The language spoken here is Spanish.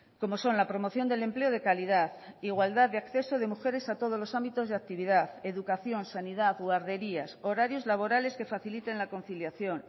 como son la promoción del empleo de calidad igualdad de acceso de mujeres a todos los ámbitos de actividad educación sanidad guarderías horarios laborales que faciliten la conciliación